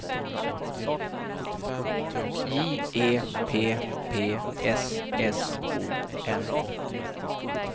J E P P S S O N